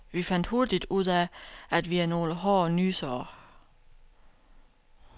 Vi fandt hurtigt ud af, at vi er nogle hårde nysere.